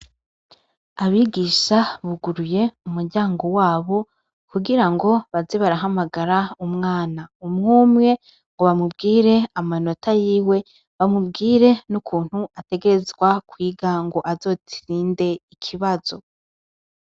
Abigisha buguruye umuryango wabo kugira ngo baze barahamagara umwana umwe umwe, ngo bamubwire amanota yiwe, bamubwire nukuntu ategerezwa kwiga ngo azotsinde ikibazo.